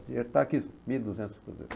O dinheiro está aqui, mil e duzentos cruzeiros.